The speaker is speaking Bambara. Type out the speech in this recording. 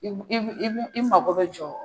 I i mako bi jɔ